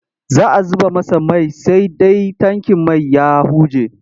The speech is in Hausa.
Za a zuba masa mai sai dai tankin man ya huje.